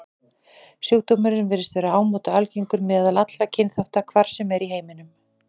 Sjúkdómurinn virðist vera ámóta algengur meðal allra kynþátta, hvar sem er í heiminum.